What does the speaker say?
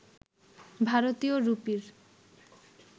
ভারতীয় রুপির